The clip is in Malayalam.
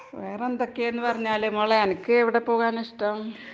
വേറെന്തൊക്കെയാന്ന് പറഞ്ഞാല് മോളെ അനക്ക് എവടെ പോകാനാ ഇഷ്ടം?